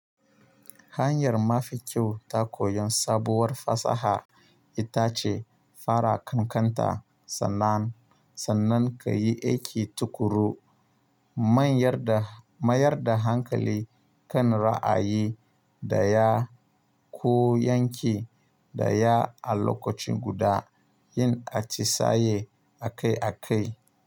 Hanyar mafi kyau ta koyon sabuwar fasaha ita ce fara kankanta sannan, sannan ka yi aiki tuƙuru, manyar da, mayar da hankali kan ra'ayi daya. Ko yanki daya a lokaci guda. Yin atisaye a kai a kai.